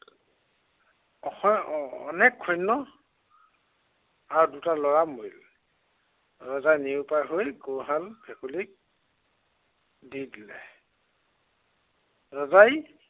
অসংখ্য় অ~অনেক সৈন্য় আৰু দুটা লৰা মৰিলে। ৰজাই নিৰুপায় হৈ গৰুহাল ভেকুলীক দি দিলে। ৰজাই